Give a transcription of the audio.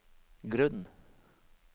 grunn